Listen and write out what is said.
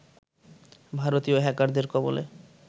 ভারতীয় হ্যাকারদের কবলে